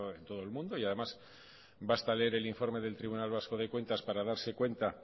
en todo el mundo y además basta leer el informe del tribunal vasco de cuentas para darse cuenta